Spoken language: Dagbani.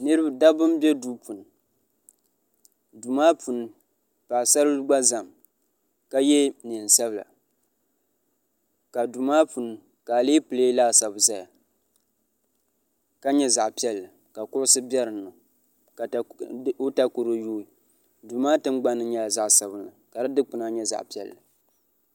dabba n bɛ duu puuni duu maa puuni paɣasaribili gba ʒɛmi ka yɛ neen sabila ka duu maa puuni ka alɛpilɛ laasabu ʒɛya ka nyɛ zaɣ piɛlli ka kuɣusi bɛ dinni ka i takoro yooi duu maa tingbani nyɛla zaɣ sabila ka di dikpuni nyɛ zaɣ piɛlli